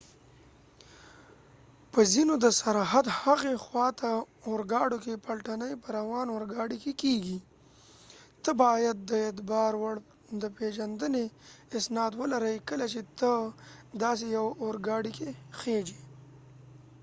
په ځینو د سرحد هغې خوا ته اورګاډو کې پلټنی په روان اورګاډی کې کېږی ته باید د اعتبار وړ د پېژندنی اسناد ولري کله چې ته داسې یو اوګاډی کې خیژی